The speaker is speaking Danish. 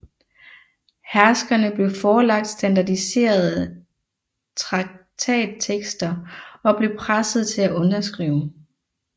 Herskernes blev forelagt standardiserede traktattekster og blev pressede til at underskrive